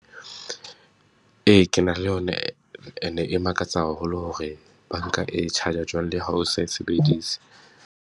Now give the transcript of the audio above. Ee, ke na le yona ane e makatsa haholo hore banka e charge-a jwang, le ha o sa e sebedise.